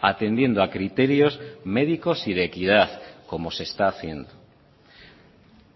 atendiendo a criterios médicos y de equidad como se está haciendo